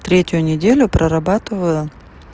третью неделю прорабатывала